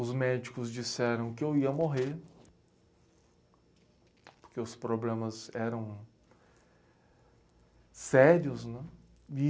Os médicos disseram que eu ia morrer, porque os problemas eram sérios, né? E